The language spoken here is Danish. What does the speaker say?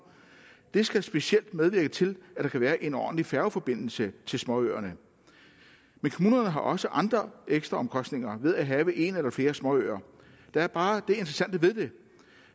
det skal specielt medvirke til at der kan være en ordentlig færgeforbindelse til småøerne men kommunerne har også andre ekstraomkostninger ved at have en eller flere småøer der er bare det interessante ved det